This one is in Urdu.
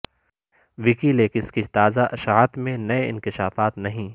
وکی لیکس کی تازہ اشاعت میں نئے انکشافات نہیں